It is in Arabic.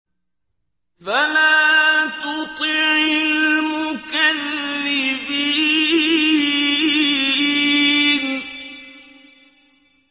فَلَا تُطِعِ الْمُكَذِّبِينَ